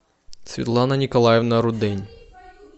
светлана николаевна рудень